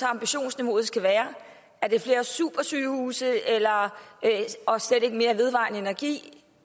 at ambitionsniveauet skal være er det flere supersygehuse og slet ikke mere vedvarende energi